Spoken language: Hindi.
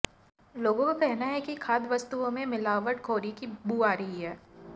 लोगों का कहना है कि खाद्य वस्तुओं में मिलावटखोरी की बू आ रही है